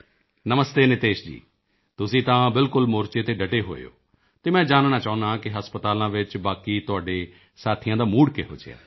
ਨਮਸਤੇ ਨਿਤੇਸ਼ ਜੀ ਤੁਸੀਂ ਤਾਂ ਬਿਲਕੁਲ ਮੋਰਚੇ ਤੇ ਡਟੇ ਹੋਏ ਹੋ ਤੇ ਮੈਂ ਜਾਨਣਾ ਚਾਹੁੰਦਾ ਹਾਂ ਕਿ ਹਸਪਤਾਲਾਂ ਵਿੱਚ ਬਾਕੀ ਤੁਹਾਡੇ ਸਾਥੀਆਂ ਦਾ ਮੂਡ ਕਿਹੋ ਜਿਹਾ ਹੈ